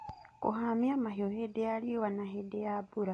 Kũhamia mahiũ hĩndĩ ya rĩũa na hĩndĩ ya mbura.